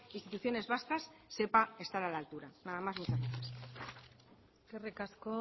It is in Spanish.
instituciones vasca sepa estar a la altura nada más muchas gracias eskerrik asko